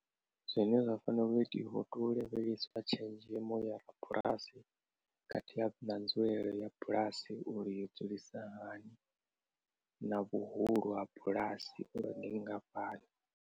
Zwine zwa fanela u itiwa hu tea u lavhelesiwa tshenzhemo ya bulasi khathihi na nzulele ya bulasi uri yo dzulisa hani na vhuhulu ha bulasi uri ndi nngafhani.